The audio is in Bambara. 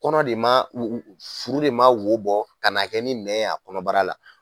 Kɔnɔ de man furu de man wo bɔ ka na kɛ ni nɛ ye a kɔnɔbara la.